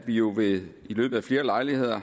at vi jo ved flere lejligheder